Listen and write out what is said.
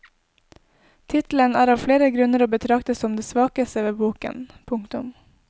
Tittelen er av flere grunner å betrakte som det svakeste ved boken. punktum